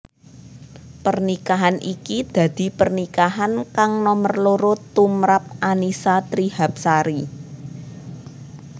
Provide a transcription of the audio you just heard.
Pernikahan iki dadi pernikahan kang nomer loro tumprap Annisa Trihapsari